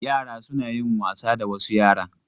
Yara suna yin wasa da wasu yaran..